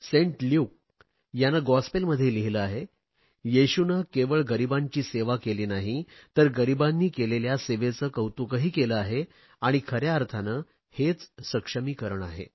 Saint Luke याने गाँस्पेलमध्ये लिहिले आहे येशूने केवळ गरीबांची सेवा केली नाही तर गरीबांनी केलेल्या सेवेचे कौतुकही केले आहे आणि खऱ्या अर्थाने हेच सक्षमीकरण आहे